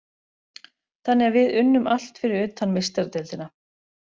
Þannig að við unnum allt fyrir utan Meistaradeildina.